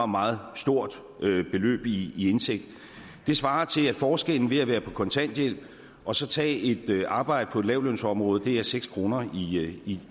meget stort beløb i indtægt svarer til at forskellen ved at være på kontanthjælp og så tage et arbejde på et lavtlønsområde er seks kroner